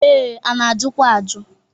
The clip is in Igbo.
Ee, a na-ajụkwa ajụ.